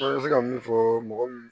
An bɛ se ka min fɔ mɔgɔ